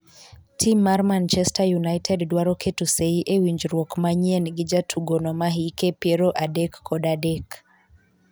tim mar manchester united dwaro keto sei e winjruok manyien gi jatugono me hike piero adek kod adek